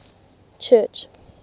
church